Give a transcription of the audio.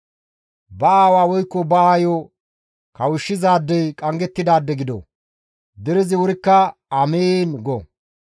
«Ba aawa woykko ba aayo kawushshizaadey qanggettidaade gido!» Derezi wurikka, «Amiin!» go.